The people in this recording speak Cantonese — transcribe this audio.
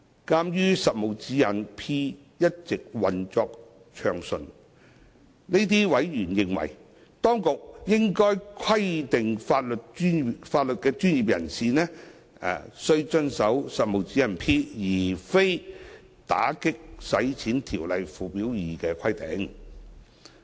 鑒於《實務指示 P》一直運作暢順，這些委員認為，當局應規定法律專業人士須遵守《實務指示 P》而非《條例》附表2的規定。